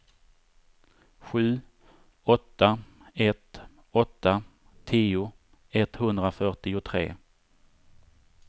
sju åtta ett åtta tio etthundrafyrtiotre